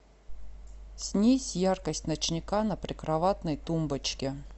снизь яркость ночника на прикроватной тумбочке